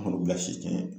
An k'o bila si tɛ ɲɛ